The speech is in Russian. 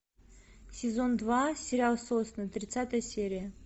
сезон два сериал сосны тридцатая серия